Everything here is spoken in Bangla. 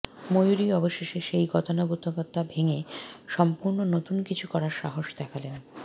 ময়ূরী অবশেষে সেই গতানুগতিকতা ভেঙে সম্পূর্ণ নতুন কিছু করার সাহস দেখালেন